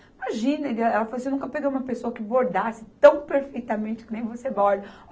Imagina, ela falou assim, eu nunca peguei uma pessoa que bordasse tão perfeitamente que nem você borda.